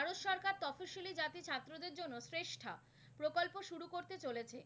চলেছে।